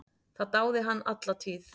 Það dáði hann alla tíð.